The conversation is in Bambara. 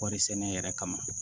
Kɔɔri sɛnɛ yɛrɛ kama